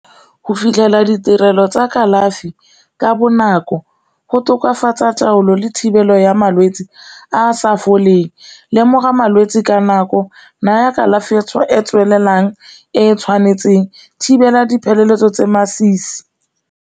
Go fitlhelela ditirelo tsa kalafi ka bonako go tokafatsa taolo le thibelo ya malwetse a a sa foleng, lemoga malwetse ka nako naya kalafi e e tswelelang e e tshwanetseng, thibela dipeeletso tse masisi.